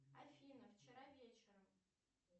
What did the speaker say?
афина вчера вечером